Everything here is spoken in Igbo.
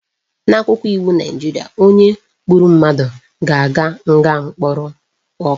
N'akwụkwọ iwu Naijiria, onye gburu mmadụ ga-aga nga mkpụrụ ọka